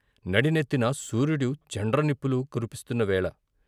నడినెత్తిన సూర్యుడు చండ్ర నిప్పులు కురిపిస్తున్న వేళ!